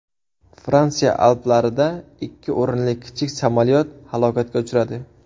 Fransiya Alplarida ikki o‘rinli kichik samolyot halokatga uchradi.